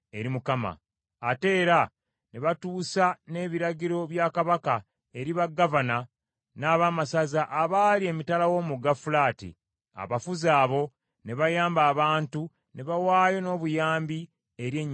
Ate era ne batuusa n’ebiragiro bya kabaka eri bagavana n’abaamasaza abaali emitala w’omugga Fulaati, abafuzi abo ne bayamba abantu ne bawaayo n’obuyambi eri ennyumba ya Katonda.